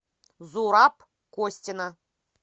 зураб костина